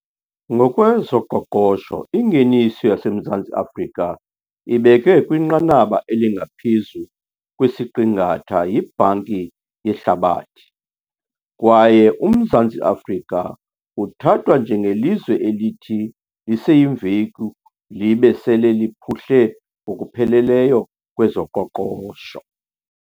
Ngokwezoqoqosho ingeniso yaseMzantsi Afrika ibekwe kwinqanaba elingaphezu kwesiqingatha yiBhanki yeHlabathi, kwaye uMzantsi Afrika uthathwa nje ngelizwe elithi liseyimveku libe sele liphuhle ngokupheleleyo kwezoqoqosho.